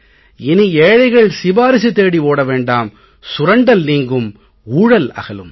இனி ஏழைகள் சிபாரிசு தேடி ஓட வேண்டாம் சுரண்டல் நீங்கும் ஊழல் அகலும்